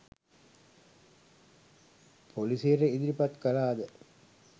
පොලිසියට ඉදිරිපත් කළාද?